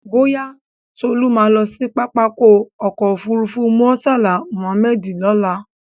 Bóyá, Tolú ma lọ sí pápákọ̀ ọ̀kọ òfurufú Murtala Mohammed ní ọ̀la